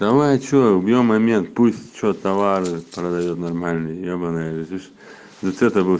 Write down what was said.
давайте убьём момент пусть что товары продают нормальный ебаные лишь для того